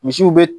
Misiw be